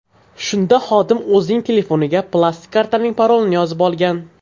Shunda xodim o‘zining telefoniga plastik kartaning parolini yozib olgan.